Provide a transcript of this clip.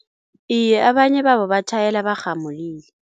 Iye abanye babo batjhayela barhamulile.